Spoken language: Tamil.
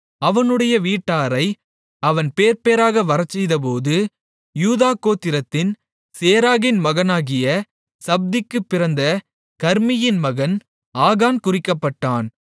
அவனுடைய வீட்டாரை அவன் பேர்பேராக வரச்செய்தபோது யூதா கோத்திரத்தின் சேராகின் மகனாகிய சப்திக்குப் பிறந்த கர்மீயின் மகன் ஆகான் குறிக்கப்பட்டான்